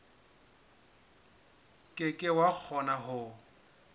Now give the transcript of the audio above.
ke ke wa kgona ho